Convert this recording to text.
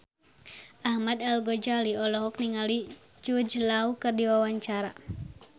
Ahmad Al-Ghazali olohok ningali Jude Law keur diwawancara